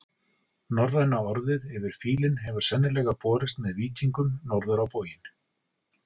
Norræna orðið yfir fílinn hefur sennilega borist með víkingum norður á bóginn.